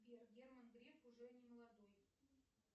сбер герман греф уже не молодой